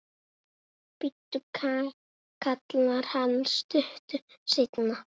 Bíddu, kallar hann stuttu seinna.